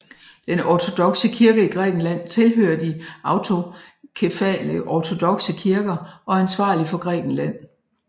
Den ortodokse kirke i Grækenland tilhører de autokefale ortodokse kirker og er ansvarlig for Grækenland